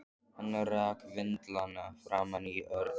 Hann rak vindlana framan í Örn.